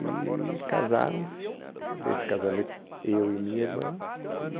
E casaram-se, nesse casamento, eu e minha irmã, e...